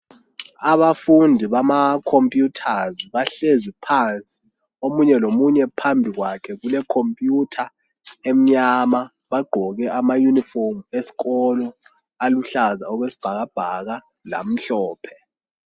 Abafundi bama computers bahlezi phansi. Omunye lomunye phambi kwakhe kule computer emnyama bagqoke amauniform eskolo aluhlaza okwesbhakabhaka lamhlophe.